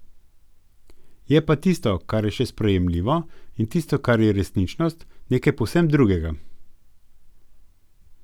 Je pa tisto, kar je še sprejemljivo, in tisto, kar je resničnost, nekaj povsem drugega.